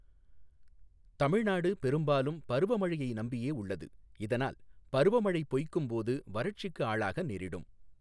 தமிழ்நாடு பெரும்பாலும் பருவ மழையை நம்பியே உள்ளது, இதனால் பருவ மழை பொய்க்கும் போது வறட்சிக்கு ஆளாக நேரிடும்.